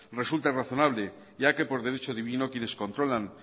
resulta razonable ya que por derecho divino quienes controlan